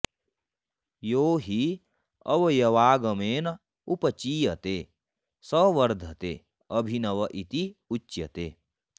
यो हि अवयवागमेन उपचीयते स वर्धते अभिनव इति च उच्यते